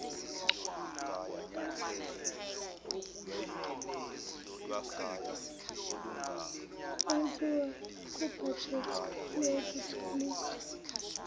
wenziwa kubhajethi yokutholiswa